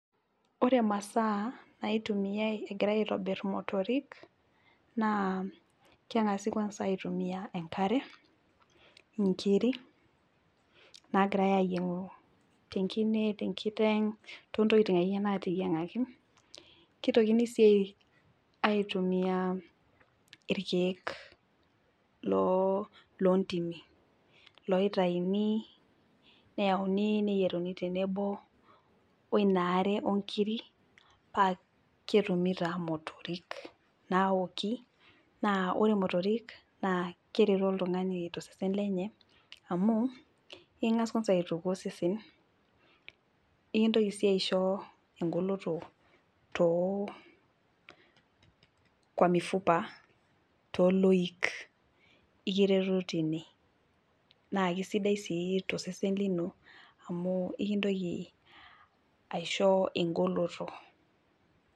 Ore imasaa naitumiay egirae aitobir imotorik naa kengasi kwansa aitumia enkare , inkiri nagirae ayiengu tenkine , tenkiteng , toontokitin akeyie nateyiengaki . Kitokini sii aitumia irkiek loltimi ,loitayuni neyieruni tenebo wenaare onkiri paa ketumi taa motorik naoki naa ore motorik naa keretu oltungani tosesen lenye amu ingas kwansa aituku osesen , enkitoki sii aisho engolo too kwa mifupa toloik , ekiretu tine naa kisidai sii tosesen lino amu ekintoki aisho egoloto.